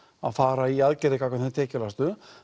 að fara í aðgerðir gagnvart þeim tekjulægstu